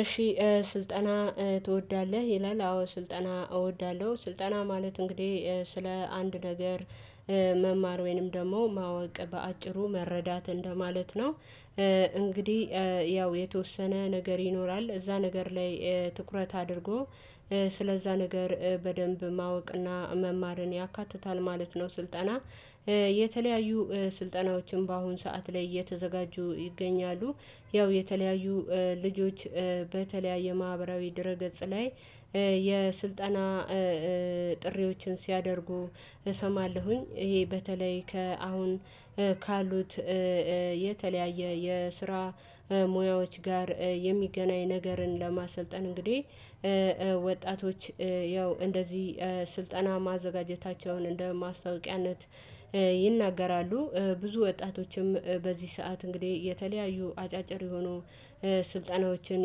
እሺ ስልጠና ትወዳለህ ይላል? አዎ ስልጠና እወዳለሁ ስልጠና ማለት እንግዲህ ስለ አንድ ነገር መማር ወይንም ደግሞ ማወቅ በአጭሩ መረዳት እንደማለት ነው። እንግዲህ ያው የተወሰነ ነገር ይኖራል እዛ ነገር ላይ ትኩረት አድርጎ ስለዛ ነገር በደንብ ማወቅና መማርን ያካትታል ማለት ነው። ስልጠና የተለያዩ ስልጠናዎችም በአሁን ሰዓት ላይ እየተዘጋጁ ይገኛሉ። ያው የተለያዩ ልጆች በተለያየ ማህበራዊ ድረ ገጽ ላይ የስልጠና ጥሪዎችን ሲያደርጉ እሰማለሁኝ። ይሄ በተለይ ከአሁን ካሉት የተለያየ የስራ ሙያዎች ጋር የሚገናኝ ነገርን ለማሰልጠን እንግዲህ ወጣቶች ያው እንደዚህ ስልጠና ማዘጋጀታቸውን እንደ ማስታወቂያነት ይናገራሉ። ብዙ ወጣቶችም በዚህ ሰዓት እንግዲህ የተለያዩ አጫጭር የሆኑ ስልጠናዎችን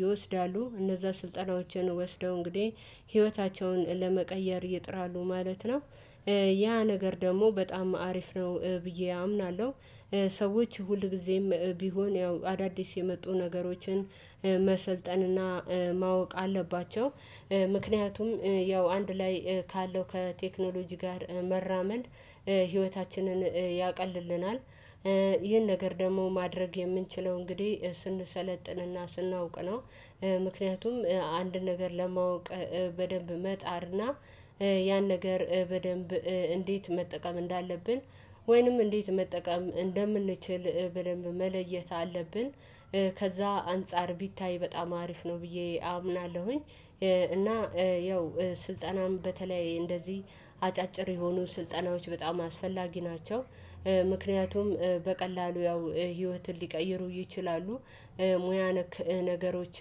ይወስዳሉ እነዛ ስልጠናዎችን ወስደው እንግዲህ ህይወታቸውን ለመቀየር ይጥራሉ ማለት ነው። ያ ነገር ደግሞ በጣም አሪፍ ነው ብዬ አምናለሁ። ሰዎች ሁል ጊዜም ቢሆን ያው አዳዲስ የመጡ ነገሮችን መሰልጠን እና ማወቅ አለባቸው። ምክንያቱም ያው አንድ ላይ ካለው ከቴክኖሎጂ ጋር መራመድ ህይወታችንን ያቀልልናል። ይህን ነገር ደግሞ ማድረግ የምንችለው እንግዲህ ስንሰለጥንና ስናውቅ ነው። ምክንያቱም አንድ ነገር ለማወቅ በደንብ መጣርና ያን ነገር በደንብ እንዴት መጠቀም እንዳለብን ወይንም እንዴት መጠቀም እንደምንችል በደንብ መለየት አለብን። ከዛ አንፃር ቢታይ በጣም አሪፍ ነው ብዬ አምናለሁኝ። እና ያው ስልጠናም በተለይ እንደዚህ አጫጭር የሆኑ ስልጠናዎች በጣም አስፈላጊ ናቸው። ምክንያቱም በቀላሉ ያው ህይወትን ሊቀይሩ ይችላሉ። ሙያ ነክ ነገሮች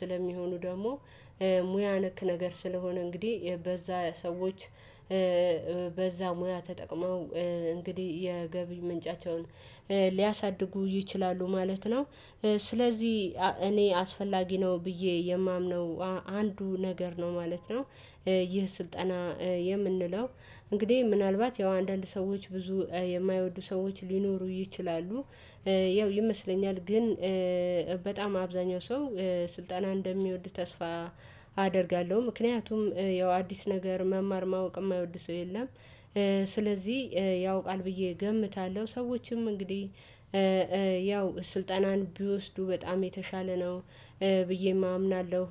ስለሚሆኑ ደግሞ ሙያ ነክ ነገር ስለሆነ እንግዲህ በዛ ሰዎች በዛ ሙያ ተጠቅመው እንግዲህ የገቢ ምንጫቸውን ሊያሳድጉ ይችላሉ ማለት ነው። ስለዚህ እኔ አስፈላጊ ነው ብዬ የማምነው አንዱ ነገር ነው ማለት ነው። ይህ ስልጠና የምንለው እንግዲህ ምናልባት ያው አንዳንድ ሰዎች ብዙ የማይወዱ ሰዎች ሊኖሩ ይችላሉ። ያው ይመስለኛል ግን በጣም አብዛኛው ሰው ስልጠና እንደሚወድ ተስፋ አደርጋለሁ። ምክንያቱም ያው አዲስ ነገር መማር ማወቅ የማይወድ ሰው የለም። ስለዚህ ያው ቃል ብዬ እገምታለሁ ሰዎችም እንግዲህ ያው ስልጠናን ቢወስዱ በጣም የተሻለ ነው። ብዬ አምናለሁ።